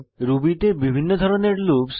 Ruby তে বিভিন্ন ধরণের লুপ্স